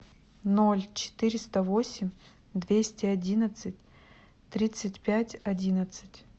ноль четыреста восемь двести одиннадцать тридцать пять одиннадцать